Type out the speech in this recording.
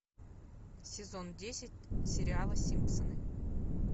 сезон десять сериала симпсоны